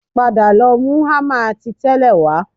Padà lọ mú hámà ti tẹ́lẹ̀ wá